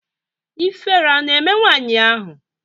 Ifere a na-eme nwaanyị ahụ?